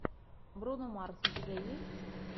бруно марс у тебя есть